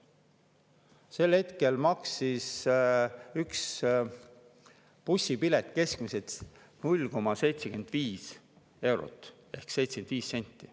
Sel hetkel maksis üks bussipilet keskmiselt 0,75 eurot ehk 75 senti.